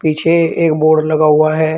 पीछे एक बोर्ड लगा हुआ है।